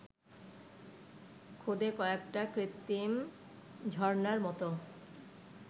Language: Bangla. খুদে কয়েকটা কৃত্রিম ঝরনার মতো